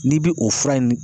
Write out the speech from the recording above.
N'i bi o fura in